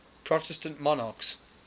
protestant monarchs